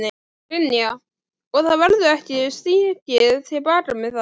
Brynja: Og það verður ekki stigið til baka með það?